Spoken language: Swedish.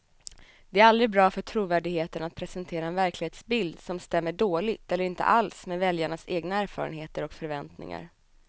Det är aldrig bra för trovärdigheten att presentera en verklighetsbild som stämmer dåligt eller inte alls med väljarnas egna erfarenheter och förväntningar.